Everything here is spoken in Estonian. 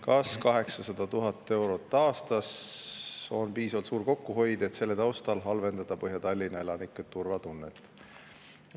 Kas 800 000 eurot aastas on piisavalt suur kokkuhoid, et selle taustal halvendada Põhja-Tallinna elanike turvatunnet?